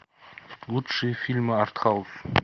лучшие фильмы артхаус